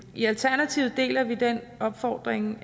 i alternativet deler vi den opfordring